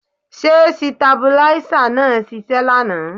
Ṣé sitabuláísà náà ṣiṣẹ́ lánàá?